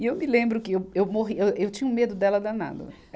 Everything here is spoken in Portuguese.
E eu me lembro que eu, eu morri, eu, eu tinha um medo dela danado.